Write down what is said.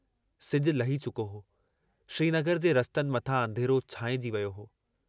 सिजु लही चुको हो, श्रीनगर जे रस्तनि मथां अंधेरो छांइजी वियो हो।